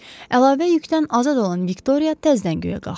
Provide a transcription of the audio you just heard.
Əlavə yükdən azad olan Viktoriya təzdən göyə qalxdı.